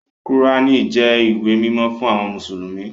Kùránì jẹ́ ìwé mímọ́ fún àwọn mùsùlùmí